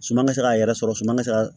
Suma ka se k'a yɛrɛ sɔrɔ suman mi se ka